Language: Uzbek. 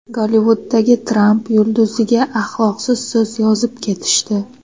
Gollivuddagi Tramp yulduziga axloqsiz so‘z yozib ketishdi.